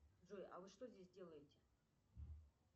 джой а вы что здесь делаете